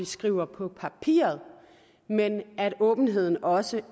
skriver på papiret men at åbenheden også